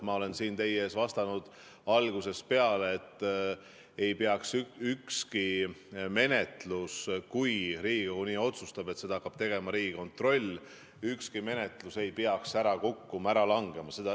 Ma olen siin teie ees vastanud algusest peale, et ükski menetlus – kui Riigikogu nii otsustab, et seda hakkab tegema Riigikontroll – ei peaks ära kukkuma, ära langema.